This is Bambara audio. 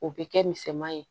O bɛ kɛ misɛman ye